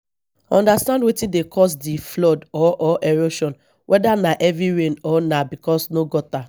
understand wetin dey cause di flood or or erosion weda na heavy rain or na because no gutter